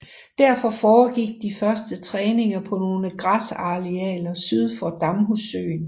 Derfor foregik de første træninger på nogle græsarealer syd for Damhussøen